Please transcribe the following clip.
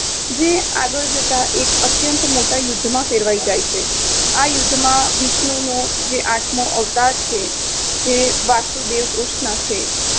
જે આગળ જતાં એક અત્યંત મોટા યુદ્ધમાં ફેેેેેરવાઈ જાય છે. આ યુદ્ધમાં વિષ્ણુનો આઠમોં અવતાર છે તે વાસુદેવ કૃષ્ણ છે